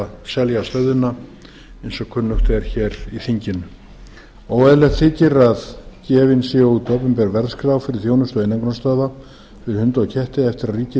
selja stöðina eins og kunnugt er hér í þinginu óeðlilegt þykir að gefin sé út opinber verðskrá fyrir þjónustu einangrunarstöðva fyrir hunda og ketti eftir að ríkið hefur